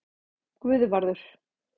Guðvarður